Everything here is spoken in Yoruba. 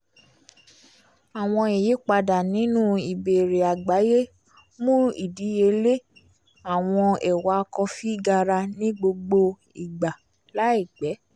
awọn iyipada ninu ìbéèrè àgbáyé mú ìdíyelé àwọn ẹ́wà kọfi gara ní gbogbo ìgbà láìpẹ́